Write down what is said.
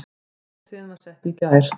Hátíðin var sett í gær